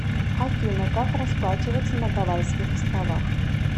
афина как расплачиваться на гавайских островах